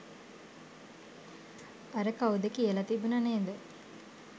අර කවුද කියල තිබුණ නේද